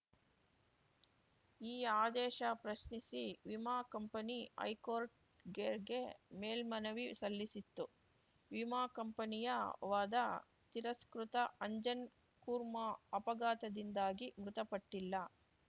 ಈ ಆದೇಶ ಪ್ರಶ್ನಿಸಿ ವಿಮಾ ಕಂಪನಿ ಹೈಕೋರ್ಟ್‌ಗೆಗೆ ಮೇಲ್ಮನವಿ ಸಲ್ಲಿಸಿತ್ತು ವಿಮಾ ಕಂಪನಿಯ ವಾದ ತಿರಸ್ಕೃತ ಅಂಜನ್‌ ಕುರ್ಮಾ ಅಪಘಾತದಿಂದಾಗಿ ಮೃತಪಟ್ಟಿಲ್ಲ